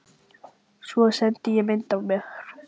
Svo sendi ég mynd af mér.